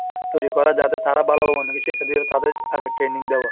তৈরি করা যাতে তারা ভালোভাবে অন্যদেরকে শিক্ষা দিয়ার তাদের আগে training দেওয়া।